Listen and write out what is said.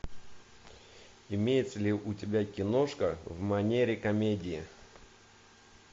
имеется ли у тебя киношка в манере комедии